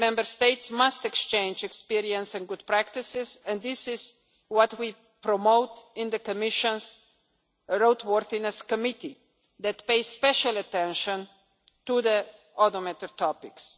Member States must exchange experience and good practices, and this is what we promote in the Commission's roadworthiness committee, which pays special attention to automotive topics.